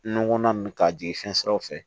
Nɔnɔ ninnu ka jigin fɛn siraw fɛ